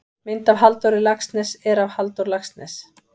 Mynd af Halldóri Laxness er af Halldór Laxness.